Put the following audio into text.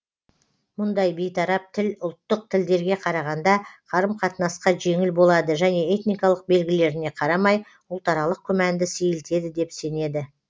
мұндай бейтарап тіл ұлттық тілдерге қарағанда қарым қатынасқа жеңіл болады және этникалық белгілеріне қарамай ұлтаралық күмәнды сейілтеді деп сенеді